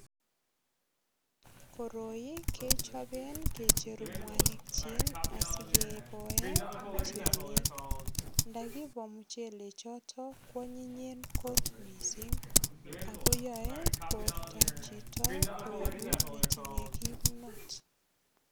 Koroi kechoben kicheru mwanikyik asikeboen muchelek. Ndakibo muchelechoto kwanyinyen kot mising ago yoe bortab chito koegu netinye kimnot.